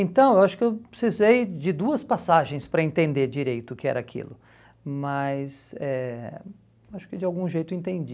Então, acho que eu precisei de duas passagens para entender direito o que era aquilo, mas eh acho que de algum jeito entendi.